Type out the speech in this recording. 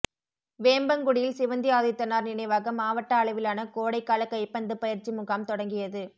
வேம்பங்குடியில் சிவந்தி ஆதித்தனார் நினைவாக மாவட்ட அளவிலான கோடைகால கைப்பந்து பயிற்சி முகாம் தொடங்கியது